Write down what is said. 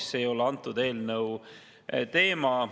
Aga see ei ole selle eelnõu teema.